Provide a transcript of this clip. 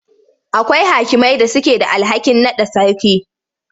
Akwai hakimai da suke da alhakin naɗa sarki.